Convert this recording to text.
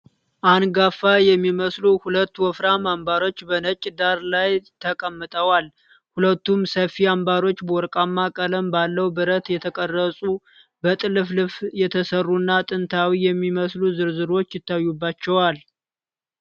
አንጋፋ የሚመስሉ ሁለት ወፍራም አምባሮች በነጭ ዳራ ላይ ተቀምጠዋል። ሁለቱም ሰፊ አምባሮች በወርቃማ ቀለም ባለው ብረት የተቀረጹ፣ በጥልፍልፍ የተሠሩና ጥንታዊ የሚመስሉ ዝርዝሮች ይታዩባቸዋል።